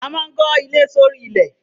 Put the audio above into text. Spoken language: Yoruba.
A maa n ko ile s'ori ilẹ